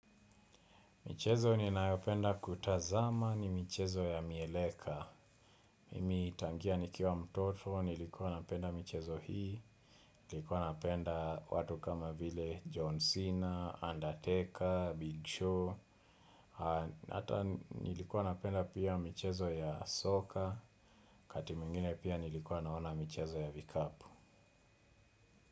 Michezo ninayopenda kutazama ni michezo ya mieleka. Mimi tangia nikiwa mtoto, nilikuwa napenda michezo hii. Nilikuwa napenda watu kama vile John Cena, Undertaker, Big Show. Hata nilikuwa napenda pia michezo ya soka. Wakati mwingine pia nilikuwa naona michezo ya vikapu.